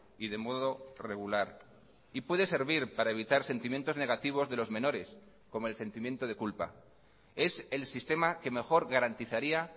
y de modo regular y puede servir para evitar sentimientos negativos de los menores como el sentimiento de culpa es el sistema que mejor garantizaría